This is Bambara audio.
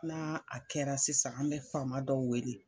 N'a a kɛra sisan an bɛ fama dɔw wele.